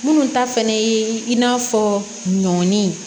Minnu ta fɛnɛ ye i n'a fɔ ɲɔn